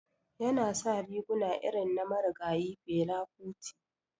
Yana sa riguna irin na marigayi Fela kuti.